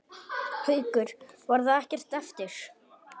Haukur: Var það ekkert erfitt?